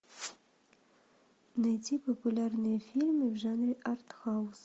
найти популярные фильмы в жанре арт хаус